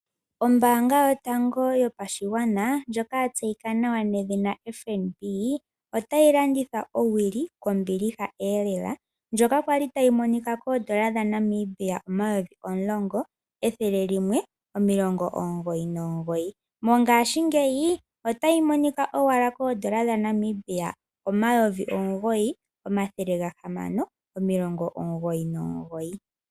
Ombaanga yotango yopashigwana ndjoka yatseyika nawa nedhina FNB otayi landitha owili kombiliha noonkondo ndjoka kwali ta yi monika koondola dha Namibia omayovi omulongo ethele limwe omilongo omugoyi nomugoyi . Mongashingeya ota yi monika owala koondola dha Namibia omayovi omugoyi omathele gahamano omilongo omugoyi nomugoyi.